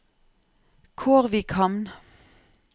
Kårvikhamn